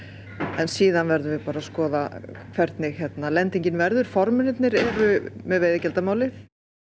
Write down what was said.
en síðan verðum við bara að skoða hvernig lendingin verður formennirnir eru með veiðigjaldamálið